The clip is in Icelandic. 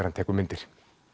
hann tekur myndir